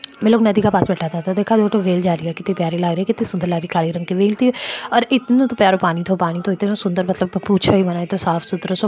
ये लोग नदी के पास बैठा कितनी प्यारी लागरी कितनी सुन्दर लागरी काली रंग की वेळ थी और इतना प्यारो पानी थी पानी तो इतना सुन्दर पानी पूछो ही मत इतना साफ सूत्रों सो --